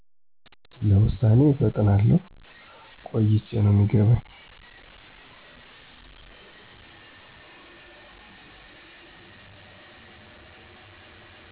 ለውሳኔ እፈጥናለሁ ቆይቸ ነው የሚገባኝ